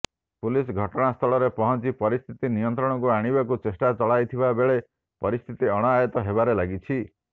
police ଘଟଣାସ୍ଥଳରେ ପହଞ୍ଚି ପରିସ୍ଥିତି ନିୟନ୍ତ୍ରଣକୁ ଆଣିବାକୁ ଚେଷ୍ଟା ଚଳାଇଥିବା ବେଳେ ପରିସ୍ଥିତି ଅଣାୟତ୍ତ ହେବାରେ ଲାଗିଛି